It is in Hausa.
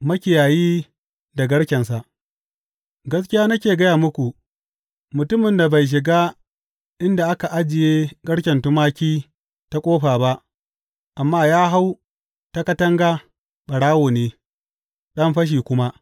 Makiyayi da garkensa Gaskiya nake gaya muku, mutumin da bai shiga inda ake ajiye garken tumaki ta ƙofa ba, amma ya hau ta katanga, ɓarawo ne, ɗan fashi kuma.